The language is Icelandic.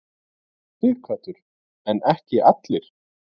Sighvatur: En ekki allir?